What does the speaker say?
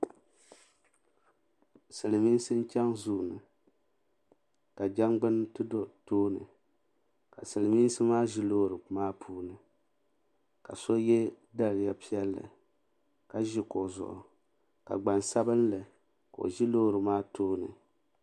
Silimiinsi n chaŋ zuu ni ka jangbini ti do tooni ka Silimiinsi maa ʒi loori maa puuni ka so ye daliya piɛlli ka ʒi kuɣu zuɣu ka gbansabinli ka o ʒi loori maa tooni.